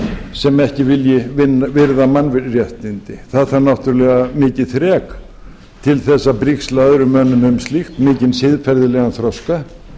sem ekki vilji virða mannréttindi það þarf náttúrlega mikið þrek til þess að brigsla öðrum mönnum um slíkt mikinn siðferðilegan þroska